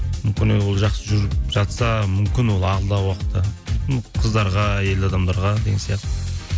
жақсы жүріп жатса мүмкін ол алдағы уақытта қыздарға әйел адамдарға деген сияқты